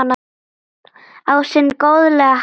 Á sinn góðlega hátt.